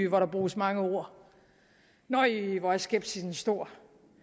hvor der bruges mange ord nej hvor er skepsisen stor